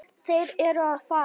Þeir eru að fara.